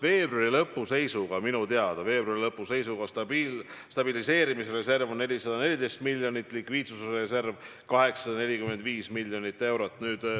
Veebruari lõpu seisuga oli minu teada stabiliseerimisreserv 414 miljonit, likviidsusreserv 845 miljonit eurot.